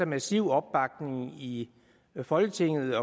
massiv opbakning i folketinget